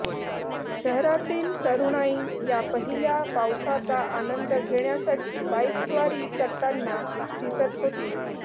शहरातील तरुणाई या पहिल्या पावसाचा आनंद घेण्यासाठी बाईकस्वारी करताना दिसत होती